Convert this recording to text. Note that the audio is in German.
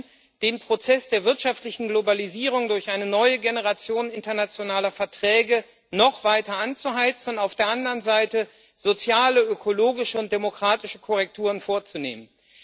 Zum Einen Den Prozess der wirtschaftlichen Globalisierung durch eine neue Generation internationaler Verträge noch weiter anzuheizen und auf der anderen Seite soziale, ökologische und demokratische Korrekturen vorzunehmen.